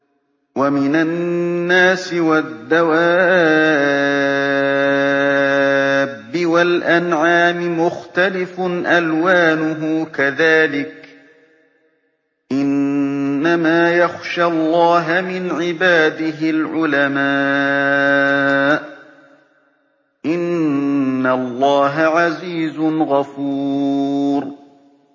وَمِنَ النَّاسِ وَالدَّوَابِّ وَالْأَنْعَامِ مُخْتَلِفٌ أَلْوَانُهُ كَذَٰلِكَ ۗ إِنَّمَا يَخْشَى اللَّهَ مِنْ عِبَادِهِ الْعُلَمَاءُ ۗ إِنَّ اللَّهَ عَزِيزٌ غَفُورٌ